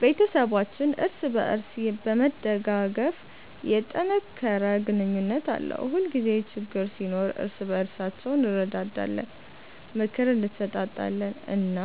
ቤተሰባችን እርስ በእርስ በመደጋገፍ የተጠናከረ ግንኙነት አለው። ሁልጊዜ ችግኝ ሲኖር እርስ በእርሳችን እንረዳዳለን፣ ምክር እንሰጣጣለን እና